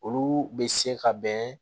Olu bɛ se ka bɛn